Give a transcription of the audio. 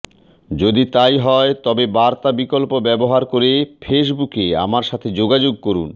যদি তাই হয় তবে বার্তা বিকল্প ব্যবহার করে ফেসবুকে আমার সাথে যোগাযোগ করুন